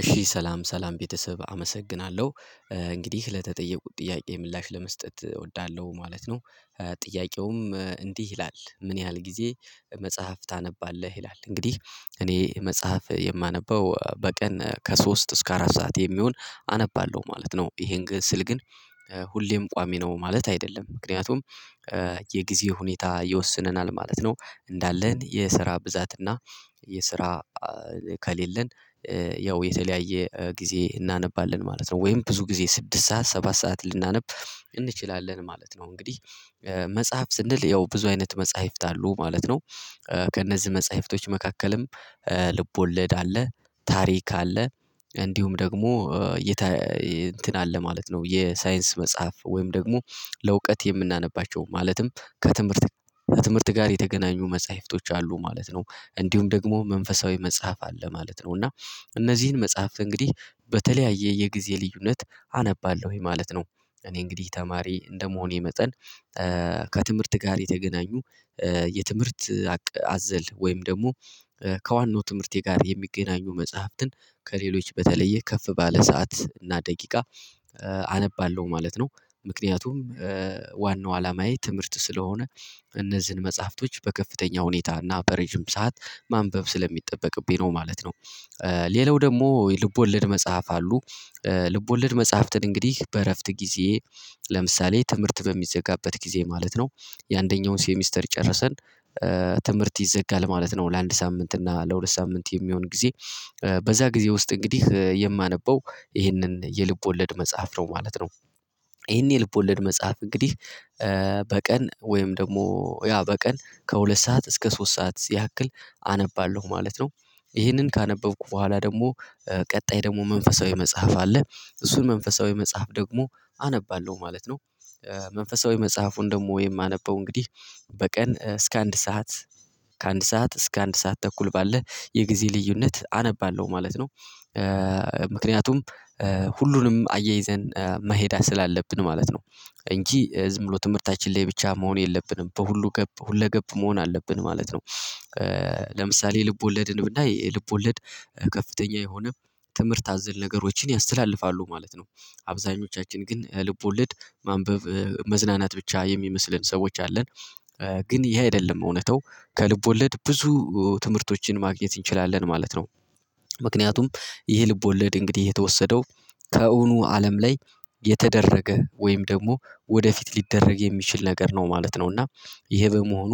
እሺ ሰላም ሰላም ቤተሰብ አመሰግናለሁ እንግዲህ ለተጠየቁት ጥያቄ ምላሽ ለመስጠት እወዳለሁ ማለት ነው። ጥያቄውም እንዲህ ይላል ምን ያህል ጊዜ? መጽሐፍ ታነባለህ ይላል እንግዲህ እኔ መጽሐፍ የማነበው በቀን ከሶስት እስከ አራት ሰዓት የሚሆን አነባለሁ ማለት ነው። ይሄን ግን ስል ግን ሁሌም ቋሚ ነው ማለት አይደለም። ምክንያቱም የጊዜ ሁኔታ ይወስነናል ማለት ነው። እንዳለን የስራ ብዛት እና የስራ ከሌለን ያው የተለያየ ጊዜ እናነባለን ማለት ነው። ወይም ብዙ ጊዜ ስድስት ሰዓት ሰባት ሰዓት ልናነብ እንችላለን ማለት ነው። እንግዲህ መጽሐፍ ስንል ያው ብዙ አይነት መጽሐፍት አሉ ማለት ነው። ከእነዚህ መጽሐፍቶች መካከልም ልብ ወለድ አለ ታሪክ አለ። እንዲሁም ደግሞ እንትን አለ ማለት ነው። የሳይንስ መጽሐፍ ወይም ደግሞ ለእውቀት የምናነባቸው ማለትም ከትምህርት ከትምህርት ጋር የተገናኙ መጽሐፍቶች አሉ ማለት ነው። እንዲሁም ደግሞ መንፈሳዊ መጽሐፍ አለ ማለት ነው። እና እነዚህን መጽሐፍ እንግዲህ በተለያየ የጊዜ ልዩነት አነባለሁኝ ማለት ነው። እኔ እንግዲህ ተማሪ እንደመሆኔ መጠን ከትምህርት ጋር የተገናኙ የትምህርት አዘል ወይም ደግሞ ከዋናው ትምህርቴ ጋር የሚገናኙ መጽሐፍትን ከሌሎች በተለየ ከፍ ባለ ሰዓት እና ደቂቃ አነባለሁ ማለት ነው። ምክንያቱም ዋናው አላማዬ ትምህርት ስለሆነ እነዚህን መጽሐፍቶች በከፍተኛ ሁኔታ እና በረጅም ሰዓት ማንበብ ስለሚጠበቅብኝ ነው ማለት ነው። ሌላው ደግሞ የልብ ወለድ መጽሐፍ አሉ ልብ ወለድ መጽሐፍትን እንግዲህ በእረፍት ጊዜ ለምሳሌ ትምህርት በሚዘጋበት ጊዜ ማለት ነው የአንደኛውን ሴሚስተር ጨርሰን ትምህርት ይዘጋል ማለት ነው። ለአንድ ሳምንት እና ለሁለት ሳምንት የሚሆን ጊዜ በዛ ጊዜ ውስጥ እንግዲህ የማነበው ይህንን የልብ ወለድ መጽሐፍ ነው ማለት ነው። ይሄን የልብ ወለድ መጽሐፍ እንግዲህ በቀን ወይም ደግሞ ያ በቀን ከሁለት ሰዓት እስከ ሶስት ሰዓት ያክል አነባለሁ ማለት ነው። ይህንን ካነበብኩ በኋላ ደግሞ ቀጣይ ደግሞ መንፈሳዊ መጽሐፍ አለ እሱን መንፈሳዊ መጽሐፍ ደግሞ አነባለሁ ማለት ነው። መንፈሳዊ መጽሐፉን ደግሞ የማነበው እንግዲህ በቀን እስከ አንድ ሰዓት ከአንድ ሰዓት እስከ አንድ ሰዓት ተኩል ባለ የጊዜ ልዩነት አነባለሁ ማለት ነው። ምክንያቱም ሁሉንም አያይዘን መሄድ ስላ አለብን ማለት ነው። እንጂ ዝም ብሎ ትምህርታችን ላይ ብቻ መሆን የለብንም በሁሉ ገብ ሁለገብ መሆን አለብን ማለት ነው። ለምሳሌ ልብ ወለድን ብናይ ልብ ወለድ ከፍተኛ የሆነ ትምህርት አዘል ነገሮችን ያስተላልፋሉ ማለት ነው። አብዛኞቻችን ግን ልብ ወልድ ማንበብ መዝናናት ብቻ የሚመስለን ሰዎች አለን። ግን ይሄ አይደለም እውነታው ከልብ ወለድ ብዙ ትምህርቶችን ማግኘት እንችላለን ማለት ነው። ምክንያቱም ይህ ልብወለድ እንግዲህ የተወሰደው ከእውኑ አለም ላይ የተደረገ ወይም ደግሞ ወደፊት ሊደረግ የሚችል ነገር ነው ማለት ነው። እና ይሄ በመሆኑ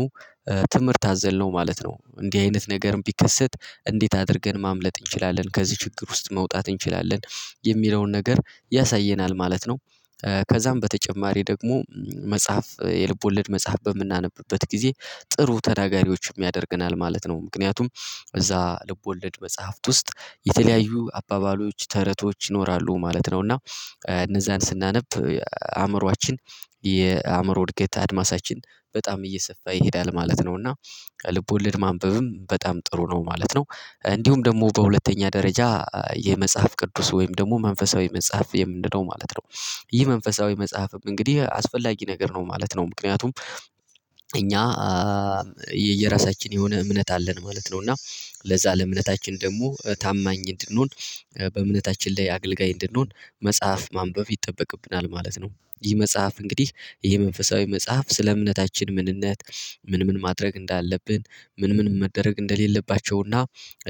ትምህርት አዘልነው ማለት ነው እንዲህ አይነት ነገርም ቢከሰት እንዴት አድርገን ማምለጥ እንችላለን ከዚህ ችግር ውስጥ መውጣት እንችላለን የሚለውን ነገር ያሳየናል ማለት ነው። ከዛም በተጨማሪ ደግሞ መጽሐፍ የልብ ወለድ መጽሐፍ በምናነብበት ጊዜ ጥሩ ተናጋሪዎችም ያደርገናል ማለት ነው። ምክንያቱም እዛ ልቦለድ መጽሐፍት ውስጥ የተለያዩ አባባሎች ተረቶች ይኖራሉ ማለት ነው። እና እነዛን ስናነብ አእምሮአችን የአእምሮ እድገት አድማሳችን በጣም እየሰፋ ይሄዳል ማለት ነው። እና ልብ ወለድ ማንበብም በጣም ጥሩ ነው ማለት ነው። እንዲሁም ደግሞ በሁለተኛ ደረጃ የመጽሐፍ ቅዱስ ወይም ደግሞ መንፈሳዊ መጽሐፍ የምንለው ማለት ነው። ይህ መንፈሳዊ መጽሐፍም እንግዲህ አስፈላጊ ነገር ነው ማለት ነው። ምክንያቱም እኛ የየራሳችን የሆነ እምነት አለን ማለት ነው። እና ለዛ ለእምነታችን ደግሞ ታማኝ እንድንሆን በእምነታችን ላይ አገልጋይ እንድንሆን መጽሐፍ ማንበብ ይጠበቅብናል ማለት ነው። ይህ መጽሐፍ እንግዲህ ይሄ መንፈሳዊ መጽሐፍ ስለ እምነታችን ምንነት ምን ምን ማድረግ እንዳለብን ምን ምን መደረግ እንደሌለባቸውና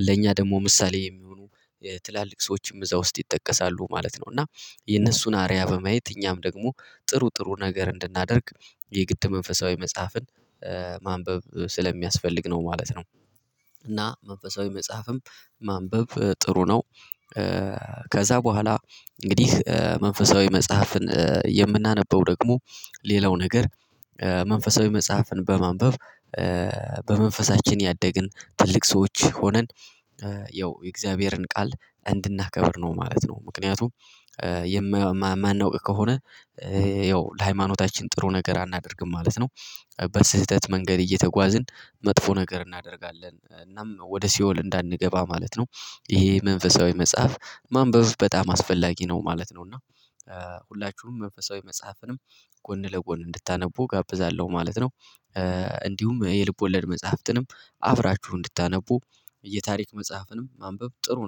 ለእኛ ደግሞ ምሳሌ የሚሆኑ ትላልቅ ሰዎችም እዛ ውስጥ ይጠቀሳሉ ማለት ነው። እና የነሱን አርያ በማየት እኛም ደግሞ ጥሩ ጥሩ ነገር እንድናደርግ የግድ መንፈሳዊ መጽሐፍን ማንበብ ስለሚያስፈልግ ነው ማለት ነው። እና መንፈሳዊ መጽሐፍም ማንበብ ጥሩ ነው። ከዛ በኋላ እንግዲህ መንፈሳዊ መጽሐፍን የምናነበው ደግሞ ሌላው ነገር መንፈሳዊ መጽሐፍን በማንበብ በመንፈሳችን ያደግን ትልቅ ሰዎች ሆነን ያው የእግዚአብሔርን ቃል እንድናከብር ነው ማለት ነው። ምክንያቱም የማናውቅ ከሆነ ያው ለሃይማኖታችን ጥሩ ነገር አናደርግም ማለት ነው። በስህተት መንገድ እየተጓዝን መጥፎ ነገር እናደርጋለን እናም ወደ ሲኦል እንዳንገባ ማለት ነው። ይሄ መንፈሳዊ መጽሐፍ ማንበብ በጣም አስፈላጊ ነው ማለት ነው። እና ሁላችሁም መንፈሳዊ መጽሐፍንም ጎን ለጎን እንድታነቡ እጋብዛለሁ ማለት ነው። እንዲሁም የልብ ወለድ መጽሐፍትንም አብራችሁ እንድታነቡ የታሪክ መጽሐፍንም ማንበብ ጥሩ ነው